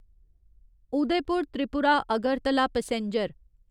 Udaipur Tripura Agartala passenger